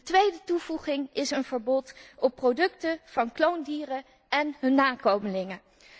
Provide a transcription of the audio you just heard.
De tweede toevoeging is een verbod op producten van kloondieren en hun nakomelingen.